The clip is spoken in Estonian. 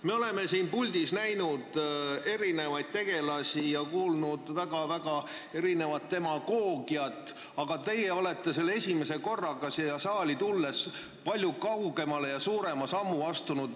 Me oleme siin puldis näinud erinevaid tegelasi ja kuulnud väga-väga erinevat demagoogiat, aga teie olete selle esimese korraga siin saalis selles palju pikema sammuga palju kaugemale astunud.